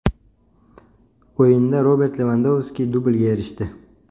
O‘yinda Robert Levandovski dublga erishdi.